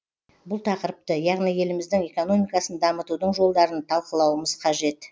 бұл тақырыпты яғни еліміздің экономикасын дамытудың жолдарын талқылауымыз қажет